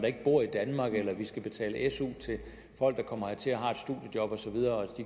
ikke bor i danmark eller om vi skal betale su til folk der kommer hertil har